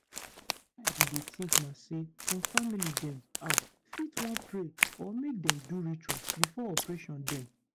wetin i bin dey think na say some family dem ah fit wan pray or make dem do ritual before operation dem.